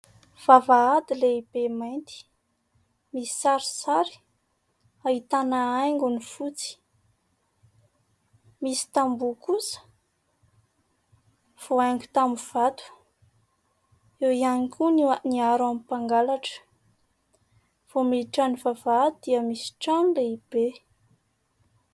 Vavahady lehibe mainty, misy sarisary ahitana haingony fotsy misy kambo kosa voahaingo tamin'ny vato ; eo ihany koa ny aro amin'ny mpangalatra vao miditra ny vavahady dia misy trano lehibe.